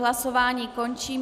Hlasování končím.